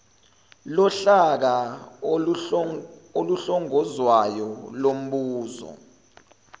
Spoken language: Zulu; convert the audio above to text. lohlaka oluhlongozwayo lumboza